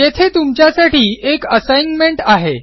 येथे तुमच्यासाठी एक असाइनमेंट आहे